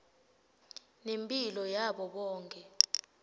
lemphilo yabo bonkhe